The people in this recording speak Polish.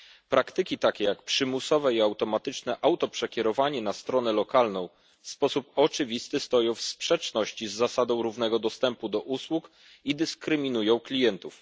Praktyki takie jak przymusowe i automatyczne przekierowanie na stronę lokalną w sposób oczywisty stoją w sprzeczności z zasadą równego dostępu do usług i dyskryminują klientów.